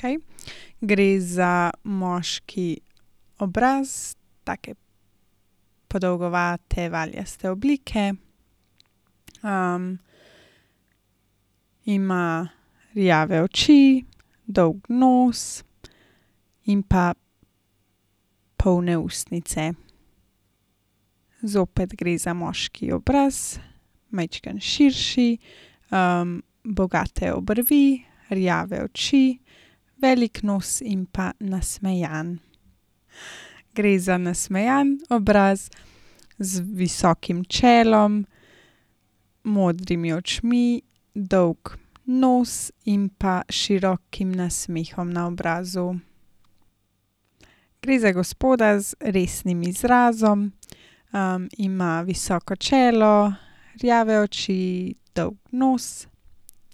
Okej, gre za moški obraz. Take podolgovate, valjaste oblike. ima rjave oči, dolg nos in pa polne ustnice. Zopet gre za moški obraz, majčkeno širši, bogate obrvi, rjave oči, velik nos in pa nasmejan. Gre za nasmejan obraz, z visokim čelom, modrimi očmi, dolg nos in pa širokim nasmehom na obrazu. Gre za gospoda z resnim izrazom, ima visoko čelo, rjave oči, dolg nos,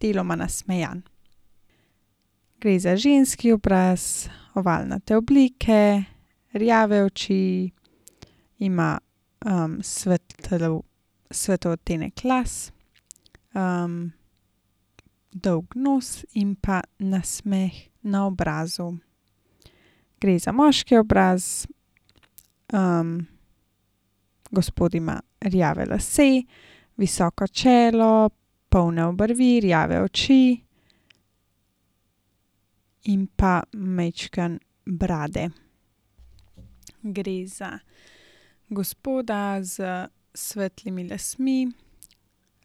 deloma nasmejan. Gre za ženski obraz, ovalnate oblike, rjave oči, ima, svetel, svetel odtenek las. dolg nos in pa nasmeh na obrazu. Gre za moški obraz, gospod ima rjave lase, visoko čelo, polne obrvi, rjave oči in pa majčkeno brade. Gre za gospoda s svetlimi lasmi.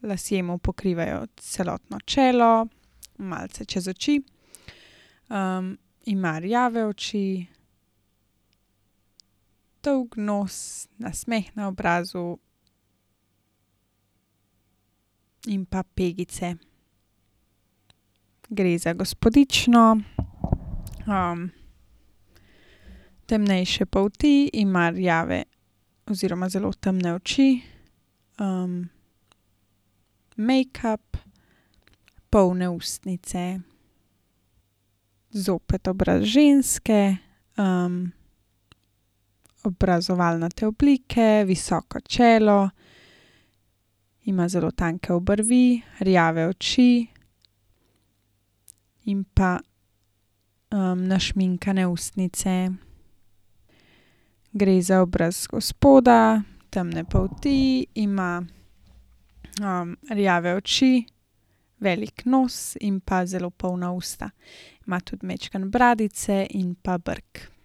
Lasje mu pokrivajo celotno čelo, malce čez oči. ima rjave oči, dolg nos, nasmeh na obrazu in pa pegice. Gre za gospodično, temnejše polti, ima rjave oziroma zelo temne oči, mejkap, polne ustnice. Zopet obraz ženske, obraz, ovalnate oblike, visoko čelo, ima zelo tanke obrvi, rjave oči in pa, našminkane ustnice. Gre za obraz gospoda, temne polti, ima, rjave oči velik nos in pa zelo polna usta. Ima tudi majčkeno bradice in pa brk.